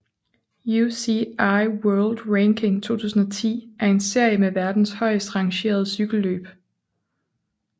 UCI World Ranking 2010 er en serie med verdens højeste rangerede cykelløb